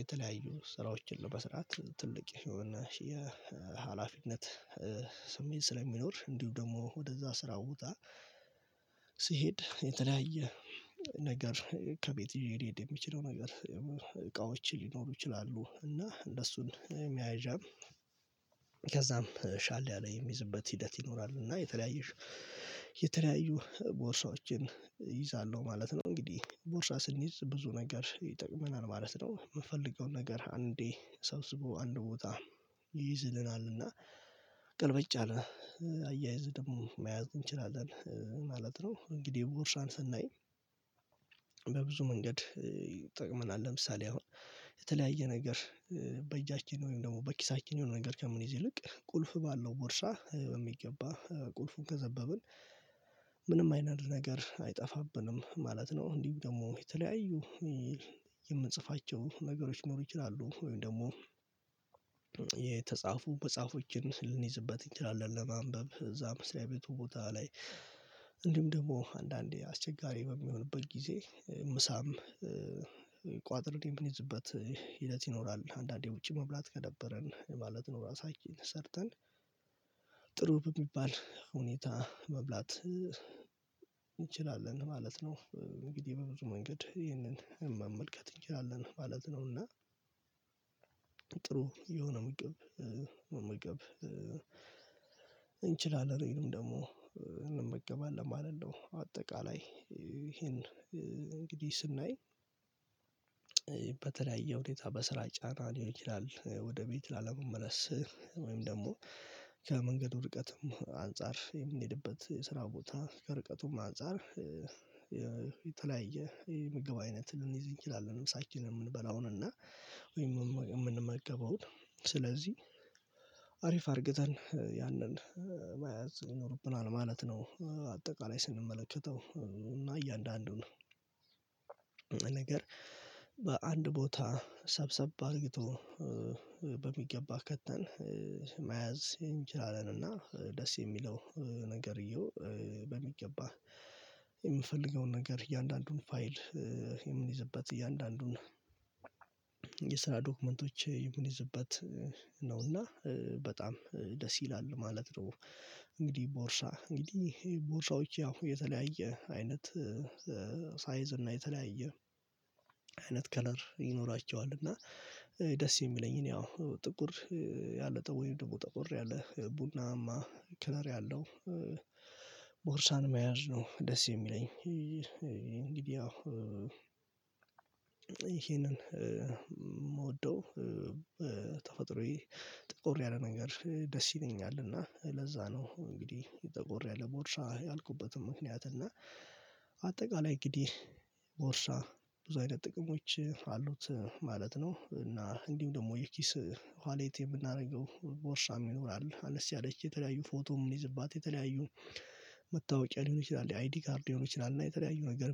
የተለያዩ ስራዎችን ለመስራት ትልቅ የሆነ የሀላፊነት ስሜት ስለሚኖር እንዲሁ ደግሞ ወደዛ ስራ ቦታ ስሄድ የተለያየ ነገር ከቤት ይዤ ልሄድ የምችለው ነገር ሊኖሩ ይችላሉ እና እነሱን መያዣም ከዛም ሻል ያለ የምይዝበት ሂደት ይኖራል እና የተለያየ የተለያዩ ቦርሳዎችን እይዛለሁ ማለት ነው እንግዲህ ቦርሳ ስንይዝ ብዙ ነገር ይጠቅመናል ማለት ነው የምንፈልገው ነገር አንዴ ሰብስቦ አንድ ቦታ ይይዝልናል እና ቅልብግጭ ያለ አያይዝ ደግሞ መያዝ እንችላለን ማለት ነው እንግዲህ ቦርሳን ስናይ በብዙ መንገድ ይጠቅመናል ለምሳሌ አሁን የተለያየ ነገር በእጃችን ወይም ደግሞ በኪሳችን የሆነ ነገር ከምንይዝ ይልቅ ቁልፍ ባለው ቦርሳ የሚገባ ቁልፉን ከዘበብን ምንም አይነት ነገር አይጠፋብንም ማለት ነው እንዲሁ ደግሞ የተለያዩ የምንጽፋቸው ነገሮች ሊኖሩ ይችላሉ ወይም ደግሞ መጽሐፎችን ልንይዝበት እንችላለን ለማንበብ እዛም መስሪያ ቤቱ ቦታ ላይ ደግሞ አንዳንዴ አስቸጋሪ በሚሆንበት ጊዜ ምሳም ቋጥሬ የምይዝበት ሂደት ይኖራል አንዳንዴ ውጪ መብላት ከደበረን ማለት ነው ራሳችን ሠርርተን ጥሩ በሚባል ሁኔታ መብላት እንችላለን ማለት ነው እንግዲህ በብዙ መንገድ ይህንን መመልከት እንችላለን ማለት ነው እና ጥሩ የሆነ ምግብ መመገብ እንችላለን ወይንም ደግሞ እንመገባለን ማለት ነው አጠቃላይ ይሄን እንግዲህ ስናይ በተለያየ ሁኔታ በስራ ጫና ሊሆን ይችላል ወደ ቤት ላለመመለስ ወይም ደግሞ ከመንገዱም ርቀትም አንፃር የምንሄድበት የስራ ቦታ ከርቀቱም አንፃር የተለያየ የምግብ አይነት ልንይዝ እንችላለን ምሳችንን የምንበላውን እና ወይም የምንመገበውን ስለዚህ አሪፍ አርግተን ያንን መያዝ ይኖርብናል ማለት ነው አጠቃላይ ስንመለከተው እና እያንዳንዱን ነገር በአንድ ቦታ ሰብሰብ አርግቶ በሚገባ ከተን መያዝ እንችላለንና ደስ የሚለው ነገርየው በሚገባ የምፈልገውን ነገር እያንዳንዱን ፋይል የምንይዝበት እያንዳንዱን የስራ ዶክመንቶች የምንይዝበት ነው እና በጣም ደስ ይላል ማለት ነው እንግዲህ ቦርሳ እንግዲህ ቦርሳዎች ያው የተለያየ አይነት ሳይዝ እና የተለያየ አይነት ከለር ይኖራቸዋል እና ደስ የሚለኝን ያው ጥቁር ያለጠ ወይም ደግሞ ጠቆር ያለ ቡናማ ከለር ያለው ቦርሳን መያዝ ነው ደስ የሚለኝ እንግዲህ ያው ይሄንን የምወደው በተፈጥሮዬ ጠቆር ያለ ነገር ደስ ይለኛል እና ለዛ ነው እንግዲህ ጠቆር ያለ ቦርሳ ያልኩበትም ምክንያት እና አጠቃላይ እንግዲህ ቦርሳ ብዙ አይነት ጥቅሞች አሉት ማለት ነው እና እንዲሁ ደግሞ የኪስ ዋሌት የምናደርገው ቦርሳ ይኖራል አነስ ያለች የተለያዩ ፎቶ የምንይዝባት የተለያዩ መታወቂያ ሊሆን ይችላል የአይዲ ካርድ ሊሆን ይችላል እና የተለያዩ ነገር